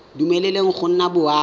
dumeleleng go nna le boagi